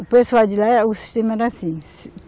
O pessoal de lá, o sistema era assim.